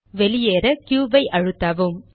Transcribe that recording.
வெளியேற க்யூ ஐ அழுத்தவும்